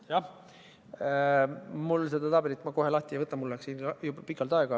Jah, mul ei ole seda tabelit kohe võimalik lahti võtta, mul läks siin juba pikalt aega.